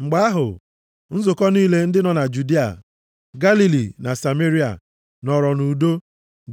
Mgbe ahụ, nzukọ niile ndị nọ na Judịa, Galili na Sameria, nọọrọ nʼudo,